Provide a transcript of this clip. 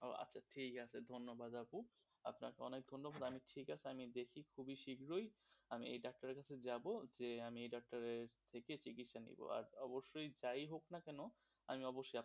ও আচ্ছা ঠিক আছে ধন্যবাদ আপু, আপনাকে অনেক ধন্যবাদ. ঠিক আছে আমি দেখি খুবই শীঘ্রই মাই এই ডাক্তারের কাছে যাব এই ডাক্তারের কাছে চিকিৎসা নেব, আর অবশ্যই যাই হোক না কেন আমি অবশ্যই আপনাকে,